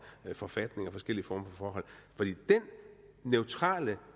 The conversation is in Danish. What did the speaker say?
forfatninger og forskellige forhold for den neutrale